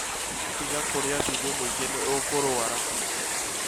Tiga kũrĩa cumbĩ mũingĩ, nĩ ũkũrwara